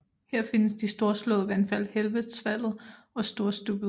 Her findes de storslåede vandfald Helvetesfallet og Storstupet